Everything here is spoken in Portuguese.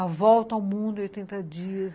A Volta ao Mundo, oitenta Dias.